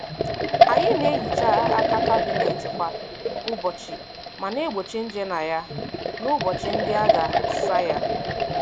Anyị na-ehicha aka kabinet kwa ụbọchị ma na-egbochi nje na ya n'ụbọchị ndị a ga- asa ya.